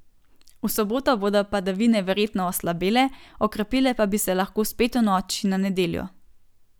V soboto bodo padavine verjetno oslabele, okrepile pa bi se lahko spet v noči na nedeljo.